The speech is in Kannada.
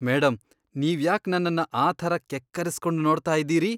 ಮೇಡಂ ನೀವ್ಯಾಕ್ ನನ್ನನ್ನ ಆ ಥರ ಕೆಕ್ಕರಿಸ್ಕೊಂಡ್ ನೋಡ್ತಾ ಇದೀರಿ?